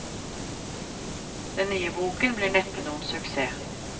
Den nye boken blir neppe noen suksess.